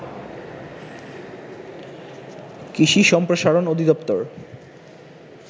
কৃষি সম্প্রসারণ অধিদপ্তর